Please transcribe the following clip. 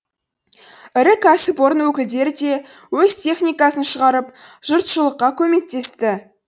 ірі кәсіпорын өкілдері де өз техникасын шығарып жұртшылыққа көмектесті